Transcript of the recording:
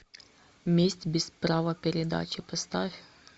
месть без права передачи поставь